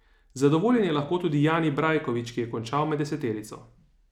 Zadovoljen je lahko tudi Jani Brajkovič, ki je končal med deseterico.